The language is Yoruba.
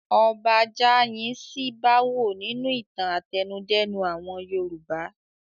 Ọba Jáayin ṣí bá wò nínú ìtàn àtẹnudẹ́nu àwọn Yorùbá.